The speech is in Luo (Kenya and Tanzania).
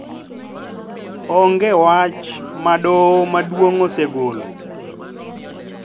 Onge wach ma Doho Maduong� osegolo